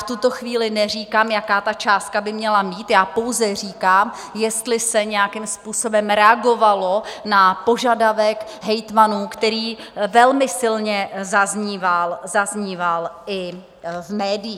V tuto chvíli neříkám, jaká ta částka by měla být, já pouze říkám, jestli se nějakým způsobem reagovalo na požadavek hejtmanů, který velmi silně zazníval i v médiích.